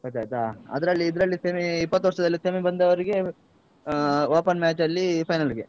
ಗೊತಾಯ್ತಾ? ಅದ್ರಲ್ಲಿ ಇದ್ರಲ್ಲಿ semi ಇಪ್ಪತ್ತು ವರ್ಷದಲ್ಲಿ semi ಬಂದವರಿಗೆ ಅಹ್ open match ಅಲ್ಲಿ final ಗೆ.